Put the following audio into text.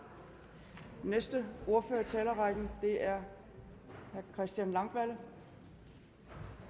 den næste ordfører i talerrækken er herre christian langballe